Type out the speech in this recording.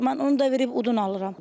Mən onu da verib odun alıram.